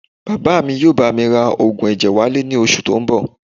Bàbá mi yóò bá mi ra oògùn ẹ̀jẹ̀ wálé ní oṣù tó ń bọ̀